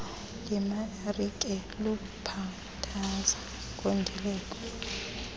lemarike lukhathaza ngondileko